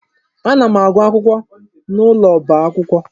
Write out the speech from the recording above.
Ana m agụ akwụkwọ n'ụlọ ọba akwụkwọ.